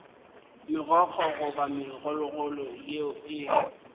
megokgo goba megololo yeo e